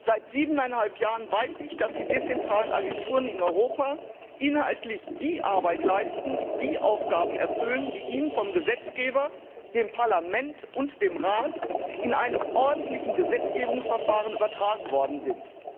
Seit siebeneinhalb Jahren weiß ich, dass die dezentralen Agenturen in Europa inhaltlich die Arbeit leisten, die Aufgaben erfüllen, die ihnen vom Gesetzgeber, dem Parlament und dem Rat, in einem ordentlichen Gesetzgebungsverfahren übertragen worden sind.